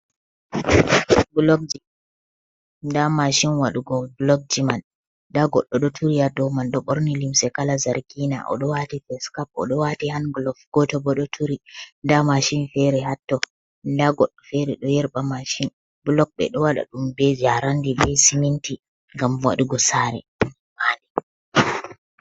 Blokji nda mashin waɗugo blokji man, nda goɗɗo ɗo turi ha rldou man ɗo ɓorni limse kala zargina oɗo wati fescap, oɗo wati hanglof. Goto bo ɗo turi nda mashin fere hatto, nda goɗɗo fere ɗo yerɓa mashin, blok ɓe ɗo waɗa ɗum be jarandi, bei siminti, ngam wadugo sare.